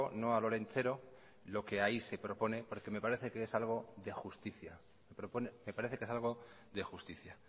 no al olentzero lo que ahí se propone porque me parece que es algo de justicia